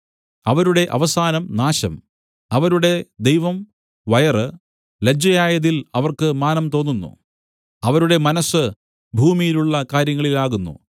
അവരുടെ അവസാനം നാശം അവരുടെ ദൈവം വയറ് ലജ്ജയായതിൽ അവർക്ക് മാനം തോന്നുന്നു അവരുടെ മനസ്സ് ഭൂമിയിലുള്ള കാര്യങ്ങളിലാകുന്നു